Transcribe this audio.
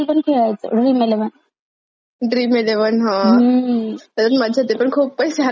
Dream eleven हा हम्म त्याच्यात मज्जा येते पण खूप पैसे हरल्या जातात.